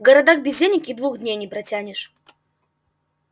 в городах без денег и двух дней не протянешь